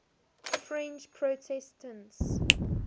french protestants